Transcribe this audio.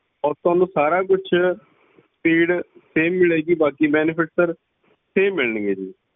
ਔਰ ਥੋਨੂੰ ਸਾਰਾ ਕੁਛ speed same ਮਿਲੇਗੀ ਬਾਕੀ benefits ਸਰ same ਮਿਲਣਗੇ ਜੀ।